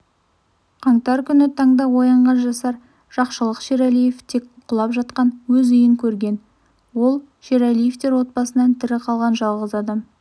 қаңтар күні таңда оянған жасар жақшылық шерәлиев тек құлап жатқан өз үйін көрген ол шерәлиевтер отбасынан тірі қалған жалғыз адам